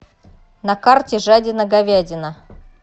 на карте жадина говядина